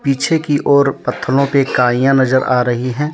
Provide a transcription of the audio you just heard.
पीछे की और पथलो पे काईया नजर आ रही है।